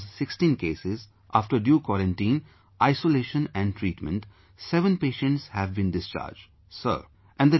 And out of those 16 cases, after due quarantine, isolation and treatment, 7 patients have been discharged Sir